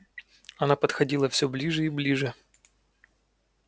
она подходила все ближе и ближе